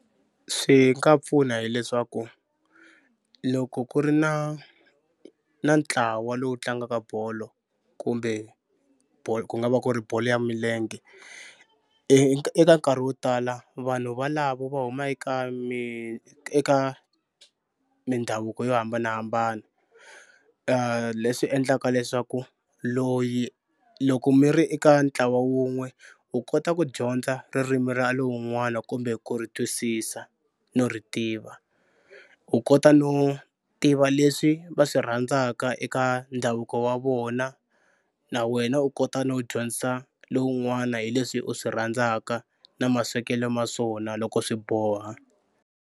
Swi nga pfuna hileswaku loko ku ri na na ntlawa lowu tlangaka bolo kumbe ku nga va ku ri bolo ya milenge eka nkarhi wo tala vanhu valavo va huma eka eka mindhavuko yo hambanahambana leswi endlaka leswaku loyi loko mi ri eka ntlawa wun'we u kota ku dyondza ririmi ra lowun'wani kumbe ku ri twisisa no ri tiva u kota no tiva leswi va swi rhandzaka eka ndhavuko wa vona na wena u kota no dyondzisa lowun'wana hi leswi u swi rhandzaka na maswekelo ma swona loko swi boha.